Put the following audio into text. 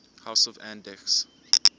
house of andechs